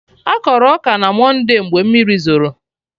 Akọrọ ọka na monde mgbe mmiri zoro